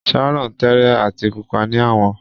Sharon tẹẹrẹ ati pupa ni awọ.